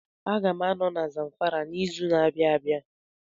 A ga m anọ na Zamfara n'izu ụka na-abịa abịa